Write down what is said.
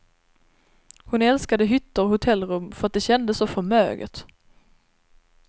Hon älskade hytter och hotellrum för att det kändes så förmöget.